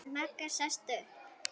Magga sest upp.